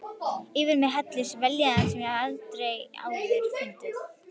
Yfir mig helltist vellíðan sem ég hafði ekki áður upplifað.